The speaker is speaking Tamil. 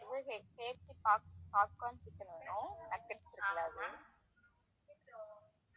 popcorn chicken வேணும் nuggets இல்ல அது